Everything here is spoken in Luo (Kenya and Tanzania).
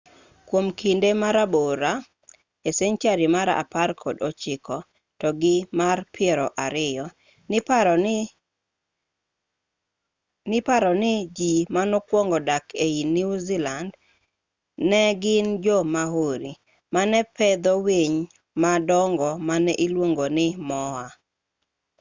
kuom kinde marabore e senchari mar apar kod ochiko to gi mar piero ariyo niparo ni ji manokuongo dak ei new zealand ne gin jo-maori mane pedho winy madongo mane iluongo ni moa